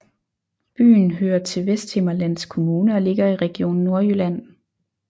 Byen hører til Vesthimmerlands Kommune og ligger i Region Nordjylland